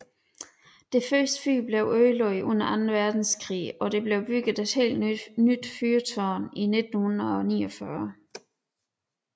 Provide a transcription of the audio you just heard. Det første fyr blev ødelagt under anden verdenskrig og der blev bygget et helt nyt fyrtårn i 1949